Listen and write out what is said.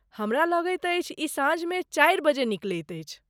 हमरा लगैत अछि ई साँझमे चारि बजे निकलैत अछि।